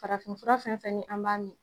Farafinfura fɛn fɛn ni an b'a min.